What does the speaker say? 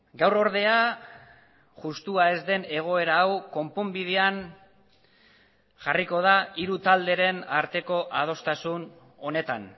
gaur ordea justua ez den egoera hau konponbidean jarriko da hiru talderen arteko adostasun honetan